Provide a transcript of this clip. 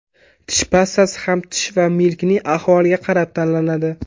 Tish pastasi ham tish va milkning ahvoliga qarab tanlanadi.